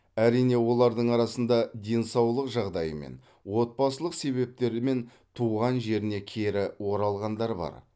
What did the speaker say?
әрине олардың арасында денсаулық жағдайымен отбасылық себептермен туған жеріне кері оралғандар бар